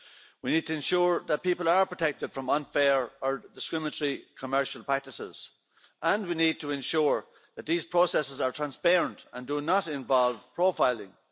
We need to ensure that people are protected from unfair or discriminatory commercial practices and we need to ensure that these processes are transparent and do not involve profiling.